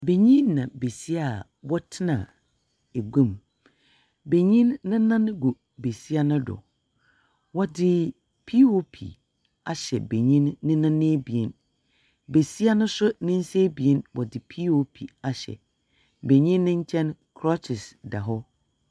Banyin na besia a wɔtena egua mu. Banyin nenan gu besia nodo. Wɔdze piiopi ahyɛ banyin nenan abien, besia no nso nensa abien wɔdze piiopi hyɛ. Banyin ne nkyɛn krɔkyes da hɔ.